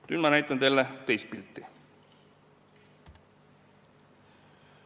Nüüd ma näitan teile teist pilti.